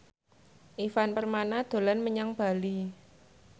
Ivan Permana dolan menyang Bali